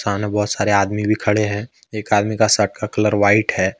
सामने बहोत सारे आदमी भी खड़े हैं एक आदमी के शर्ट का कलर व्हाइट है।